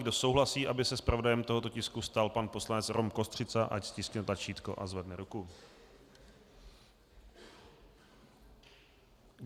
Kdo souhlasí, aby se zpravodajem tohoto tisku stal pan poslanec Rom Kostřica, ať stiskne tlačítko a zvedne ruku.